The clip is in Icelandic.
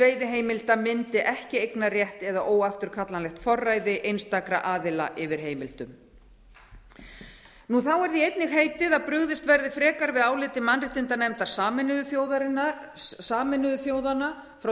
veiðiheimilda myndi ekki eignarrétt eða óafturkallanlegt forræði einstakra aðila yfir heimildum þá er því einnig heitið að brugðist verði frekar við áliti mannréttindanefndar sameinuðu þjóðanna frá